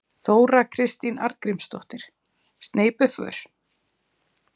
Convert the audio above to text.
Þóra Kristín Arngrímsdóttir: Sneypuför?